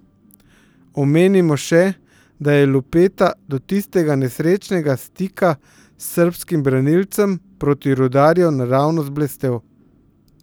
Omenimo še, da je Lupeta do tistega nesrečnega stika s srbskim branilcem proti Rudarju naravnost blestel.